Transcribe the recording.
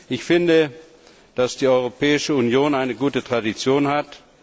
Ich finde, dass die Europäische Union eine gute Tradition hat.